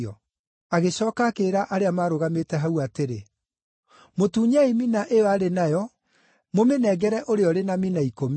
“Agĩcooka akĩĩra arĩa maarũgamĩte hau atĩrĩ, ‘Mũtunyei mina ĩyo arĩ nayo, mũmĩnengere ũrĩa ũrĩ na mina ikũmi.’